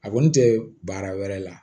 A kɔni tɛ baara wɛrɛ la